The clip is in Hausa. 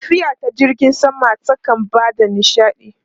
Tafiya ta jirgin sama kan ba da nishaɗi.